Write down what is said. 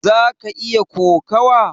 zaka iya kokawa?